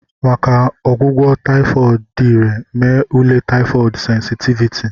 Maka ọgwụgwọ taifod dị irè, mee ule taifod sensitiviti.